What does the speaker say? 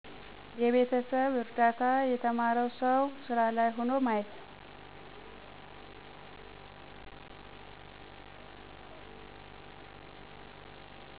የቤተሰብ እርዳታ የተማረው ሠው ሢራ ላይ ሆኖ ማየት